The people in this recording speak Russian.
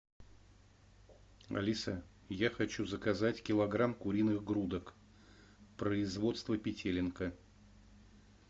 алиса я хочу заказать килограмм куриных грудок производства петелинка